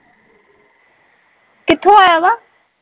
ਕਿਥੋਂ ਆਇਆ ਵਾ